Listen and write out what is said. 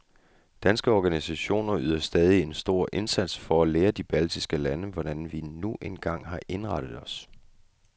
Danske organisationer yder stadig en stor indsats for at lære de baltiske lande, hvordan vi nu en gang har indrettet os.